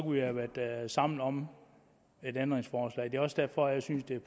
vi have været sammen om et ændringsforslag det er også derfor jeg synes det er